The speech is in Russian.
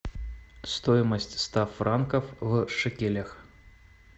стоимость ста франков в шекелях